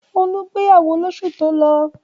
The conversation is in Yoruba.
Olú gbéyàwó lóṣù tó lọ?